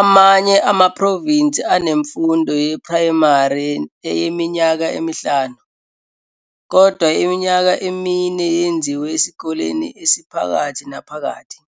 Amanye amaprovinsi anemfundo yeprayimari yeminyaka emihlanu, kodwa iminyaka emine yenziwa esikoleni esiphakathi naphakathi.